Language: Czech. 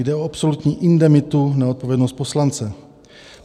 Jde o absolutní indemitu - neodpovědnost poslance.